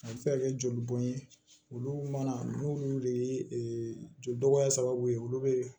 A bɛ se ka kɛ joli bɔn ye olu mana n'u de ye joli dɔgɔya sababu ye olu bɛ